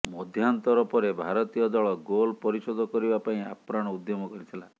ମଧ୍ୟାନ୍ତର ପରେ ଭାରତୀୟ ଦଳ ଗୋଲ ପରିଶୋଧ କରିବା ପାଇଁ ଆପ୍ରାଣ ଉଦ୍ୟମ କରିଥିଲା